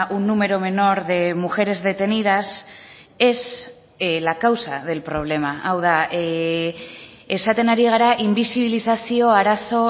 un número menor de mujeres detenidas es la causa del problema hau da esaten ari gara inbisibilizazio arazo